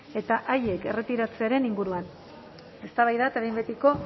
eta haiek erretiratzearen inguruan eztabaida eta behin betiko